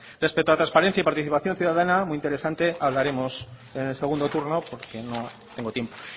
respecto a transparencia y participación ciudadana muy interesante hablaremos en el segundo turno porque no tengo tiempo